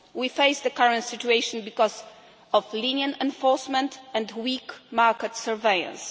We face the current situation because of lenient enforcement and weak market surveillance.